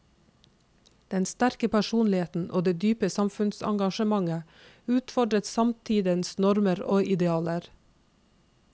Den sterke personligheten og det dype samfunnsengasjementet utfordret samtidens normer og idealer.